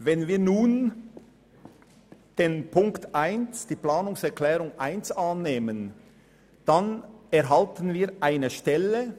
Wenn wir nun die Planungserklärung 1 annehmen, dann erhalten wir eine Stelle.